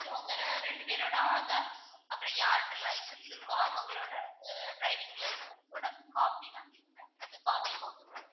உங்க ரெண்டு பேரோட ஆதார் அப்பறம் யாருக்கு license இருக்கோ அவங்களோட driving license ஓட copy தான் கேக்குறேன் வெறும் copy போதும்,